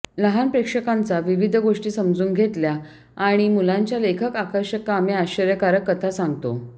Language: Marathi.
लहान प्रेक्षकांचा विविध गोष्टी समजून घेतल्या आणि मुलांच्या लेखक आकर्षक कामे आश्चर्यकारक कथा सांगतो